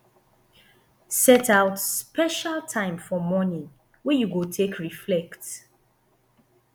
set out special time for morning wey you go take reflect